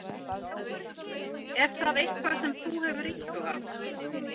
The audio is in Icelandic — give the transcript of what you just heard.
Er það eitthvað sem þú hefur íhugað?